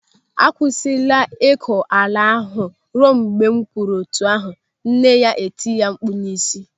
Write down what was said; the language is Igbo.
"Akwụsịla ịkọ ala ahụ ruo mgbe m kwuru etu ahụ, nne ya etie ya mkpu n'isi.